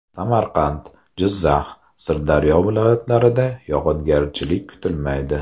Samarqand, Jizzax, Sirdaryo viloyatlarida yog‘ingarchilik kutilmaydi.